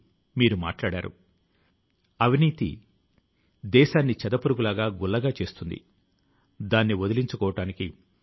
మీరు ఎలా ఉండాలనుకుంటున్నారో దానిలో మీరు మంచిగా ఉండలేరని ఎప్పుడూ అనుకోకండి